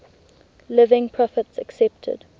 living prophets accepted